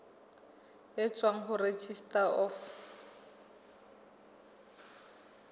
e tswang ho registrar of